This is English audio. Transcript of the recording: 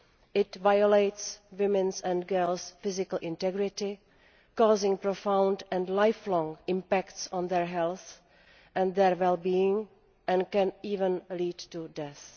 It violates women's and girls' physical integrity, causing profound and life long impacts on their health and their well being, and can even led to death.